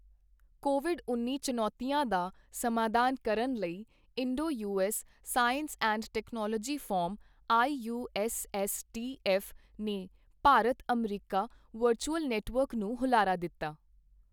Covid ਉੱਨੀ ਚੁਣੌਤੀਆਂ ਦਾ ਸਮਾਧਾਨ ਕਰਨ ਲਈ Indo U S science and technology forum I U S S T F ਨੇ ਭਾਰਤ ਅਮਰੀਕਾ ਵਰਚੂਅਲ ਨੈੱਟਵਰਕ ਨੂੰ ਹੁਲਾਰਾ ਦਿੱਤਾ